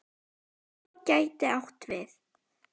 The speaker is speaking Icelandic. FOR gæti átt við